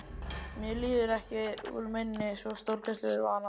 Hann líður mér ekki úr minni, svo stórkostlegur var hann.